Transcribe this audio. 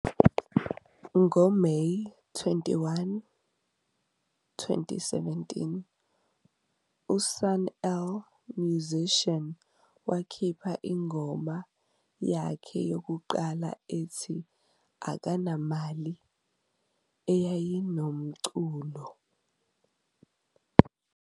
NgoMeyi 21, 2017, uSun-El Musician wakhipha ingoma yakhe yokuqala ethi "Akanamali" eyayinomculo